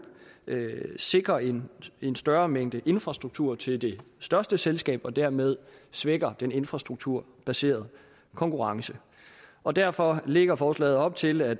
sikrer en en større mængde infrastruktur til det største selskab og dermed svækker den infrastrukturbaserede konkurrence og derfor lægger forslaget op til at